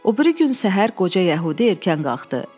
O biri gün səhər qoca yəhudi erkən qalxdı.